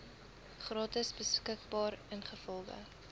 gratis beskikbaar ingevolge